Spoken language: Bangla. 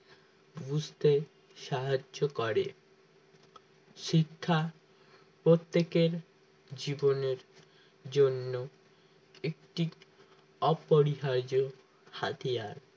বুঝতে সাহায্য করে শিক্ষা প্রত্যেকের জীবনের জন্য একটি অপরিহার্য হাতিয়ার